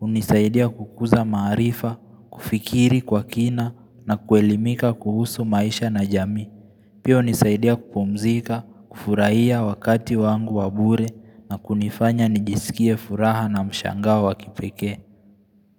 unisaidia kukuza maarifa, kufikiri kwa kina na kuelimika kuhusu maisha na jamii Pia hunisaidia kupumzika, kufurahia wakati wangu wabure na kunifanya nijisikie furaha na mshangao kipekee.